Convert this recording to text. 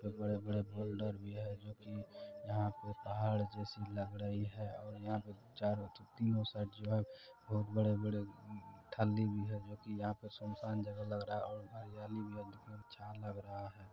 और बड़े बड़े फोल्डर भी है जो की यहाँ पे पहाड़ जैसी लग रही है और यहाँ पे चारो तीनो साइड जो है बहुत बड़े बड़े ठंडी भी है जो की यहाँ पे सुनसान जगह लग रहा है और हरियाली भी बहोत अच्छा लग रहा है।